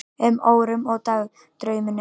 um, órum og dagdraumum.